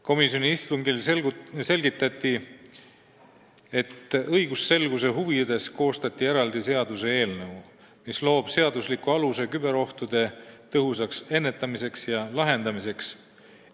Komisjoni istungil selgitati, et õigusselguse huvides koostati eraldi seaduseelnõu, mis loob seadusliku aluse küberohtude tõhusaks ennetamiseks ja lahendamiseks.